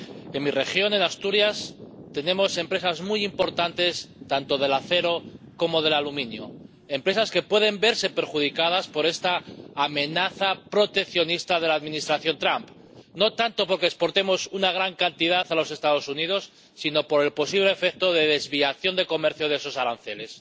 En mi región, en Asturias, tenemos empresas muy importantes tanto del acero como del aluminio, empresas que pueden verse perjudicadas por esta amenaza proteccionista de la Administración Trump, no tanto porque exportemos una gran cantidad a los Estados Unidos, sino por el posible efecto de desviación de comercio de esos aranceles.